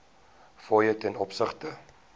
fooie ten opsigte